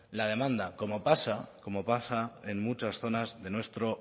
la demanda como pasa como pasa en muchas zonas de nuestro